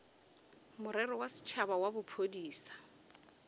morero wa setšhaba wa bophodisa